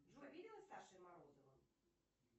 джой виделась с сашей морозовым